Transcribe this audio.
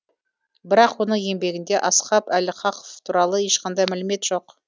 бірақ оның еңбегінде асхаб әл каһф туралы ешқандай мәлімет жоқ